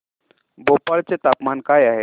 भोपाळ चे तापमान काय आहे